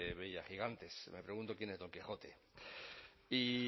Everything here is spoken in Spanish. veía gigantes me pregunto quién es don quijote y